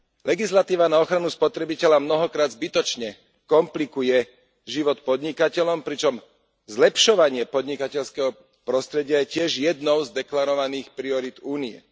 Legislatíva na ochranu spotrebiteľa mnohokrát zbytočne komplikuje život podnikateľom, pričom zlepšovanie podnikateľského prostredia je takisto jednou z deklarovaných priorít Únie.